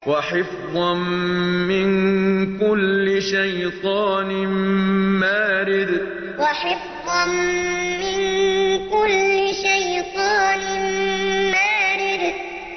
وَحِفْظًا مِّن كُلِّ شَيْطَانٍ مَّارِدٍ وَحِفْظًا مِّن كُلِّ شَيْطَانٍ مَّارِدٍ